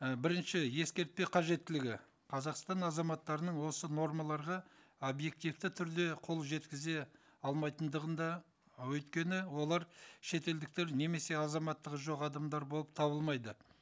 і бірінші ескертпе қажеттілігі қазақстан азаматтарының осы нормаларға объективті түрде қол жеткізе алмайтындығында өйткені олар шетелдіктер немесе азаматтығы жоқ адамдар болып табылмайды